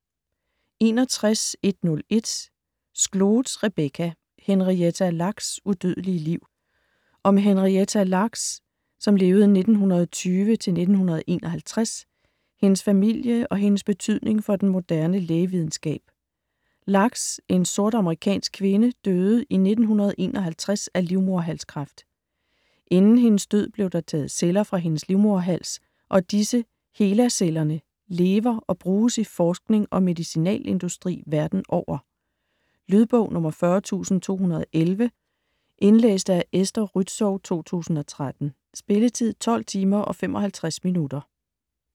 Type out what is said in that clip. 61.101 Skloot, Rebecca: Henrietta Lacks' udødelige liv Om Henrietta Lacks (1920-1951), hendes familie og hendes betydning for den moderne lægevidenskab. Lacks, en sort amerikansk kvinde, døde i 1951 af livmoderhalskræft. Inden hendes død blev der taget celler fra hendes livmoderhals, og disse, HeLa-cellerne, lever og bruges i forskning og medicinalindustri verden over. Lydbog 40211 Indlæst af Esther Rützou, 2013. Spilletid: 12 timer, 55 minutter.